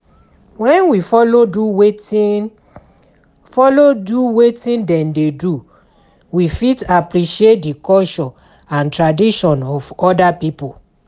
When we follow do wetin follow do wetin dem dey do we fit appreciate di culture and traditon of oda pipo